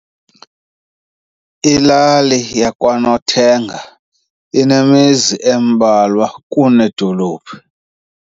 Ilali yakwaNothenga inemizi embalwa kunedolophu.